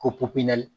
Ko popiyɛri